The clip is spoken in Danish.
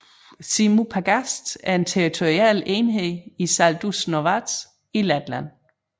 Zirņu pagasts er en territorial enhed i Saldus novads i Letland